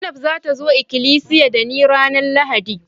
Zainab za ta zo ikilisiya da ni ranan Lahadi.